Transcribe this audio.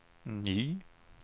ny